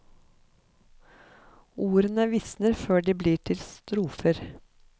Ordene visner før de blir til strofer.